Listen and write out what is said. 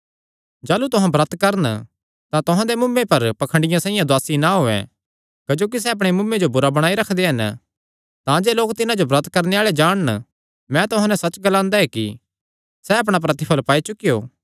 जाह़लू तुहां ब्रत करन तां तुहां दे मुँऐ पर पाखंडियां साइआं उदासी ना होयैं क्जोकि सैह़ अपणे मुँऐ जो बुरा बणाई रखदे हन तांजे लोक तिन्हां जो ब्रत करणे आल़ा जाणन मैं तुहां नैं सच्च ग्लांदा ऐ कि सैह़ अपणा प्रतिफल़ पाई चुकेयो